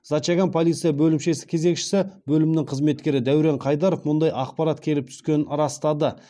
зачаган полиция бөлімшесі кезекші бөлімінің қызметкері дәурен қайдаров мұндай ақпарат келіп түскенін растады